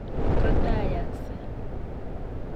kotayaaksei.